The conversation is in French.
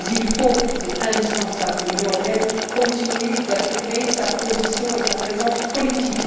Mais il faut c'est indispensable que l'Union européenne continue d'affirmer sa position et sa présence politique.